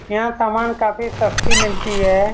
यह सामान काफी सस्ती मिलती है।